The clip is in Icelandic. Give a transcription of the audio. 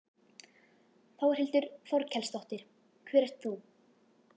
Þórhildur Þorkelsdóttir: Hver ert þú?